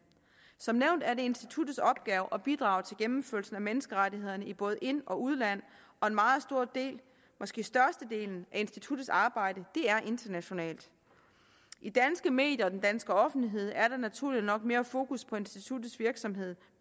som nævnt er det instituttets opgave at bidrage til gennemførelsen af menneskerettigheder i både ind og udland og en meget stor del måske størstedelen af instituttets arbejde er internationalt i danske medier og den danske offentlighed er der naturligt nok mere fokus på instituttets virksomhed